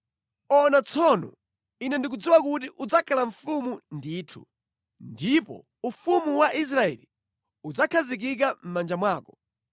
Ona tsono, Ine ndikudziwa kuti udzakhala mfumu ndithu ndipo ufumu wa Israeli udzakhazikika mʼmanja mwako.